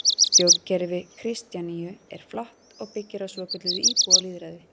Stjórnkerfi Kristjaníu er flatt og byggir á svokölluðu íbúalýðræði.